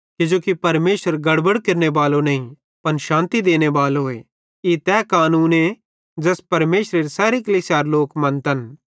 किजोकि परमेशर गड़बड़ केरनेबालो नईं पन शान्ति देनेबालोए ई तै कानूने ज़ैस परमेशरेरे सैरी कलीसियारे लोक मन्तन